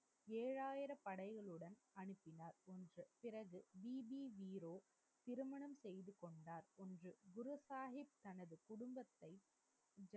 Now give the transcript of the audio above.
ஏழாயிர படைகளுடன் அனுப்பினார் என்று பிறகு சிரமேல் செய்து கொண்டார் என்று குரு சாஹிப் தனது குடும்பத்தை